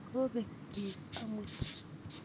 kobek beek amut